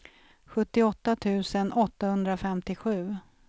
sjuttioåtta tusen åttahundrafemtiosju